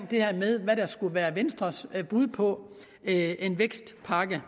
det her med hvad der skulle være venstres bud på en vækstpakke